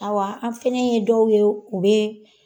Aw an fana ye dɔw ye o bɛ